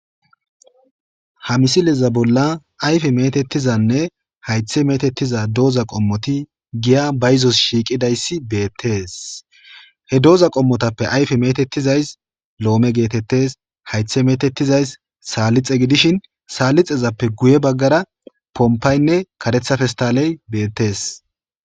ha misileza bolla ayfe metettizanne haythe metettiza dooza qommoti giya bayzos shiiqidayssi beettees he dooza qommotappe ayfe metettizays loome geetettes haythe metettizays saallixe gidishin saalixezappe guye baggara pompaynne karetha festaaley beettees